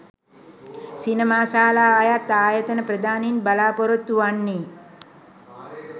සිනමාශාලා අයත් ආයතන ප්‍රධානීන් බලාපොරොත්තු වන්නේ